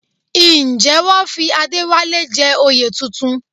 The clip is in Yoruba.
Ǹjẹ́ wọ́n fi Adéwálé jẹ oyè tuntun?